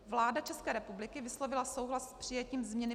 Vláda České republiky vyslovila souhlas s přijetím změny